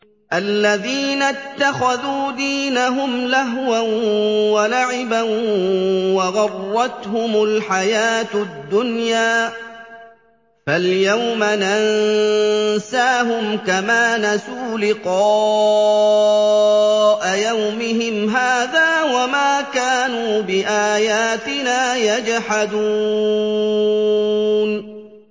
الَّذِينَ اتَّخَذُوا دِينَهُمْ لَهْوًا وَلَعِبًا وَغَرَّتْهُمُ الْحَيَاةُ الدُّنْيَا ۚ فَالْيَوْمَ نَنسَاهُمْ كَمَا نَسُوا لِقَاءَ يَوْمِهِمْ هَٰذَا وَمَا كَانُوا بِآيَاتِنَا يَجْحَدُونَ